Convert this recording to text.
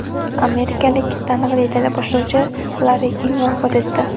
Amerikalik taniqli teleboshlovchi Larri King vafot etdi.